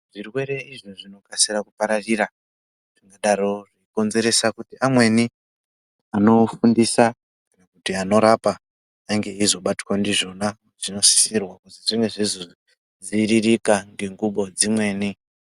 Zvirwere izvo zvinokasira kupararira zvakadaro konzeresa kuti amweni anofundisa kana kuti anorapa ange eizobatwa ndizvona. Zvinosisirwa kuzi zvinge zveizodziiririka ngengubo dzimweni.